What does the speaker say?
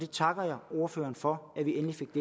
takker ordføreren for at vi endelig fik